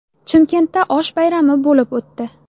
Chimkentda osh bayrami bo‘lib o‘tdi.